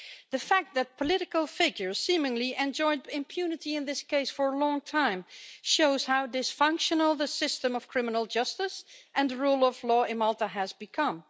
The fact that political figures seemingly enjoyed impunity in this case for a long time shows how dysfunctional the system of criminal justice and the rule of law in Malta has become.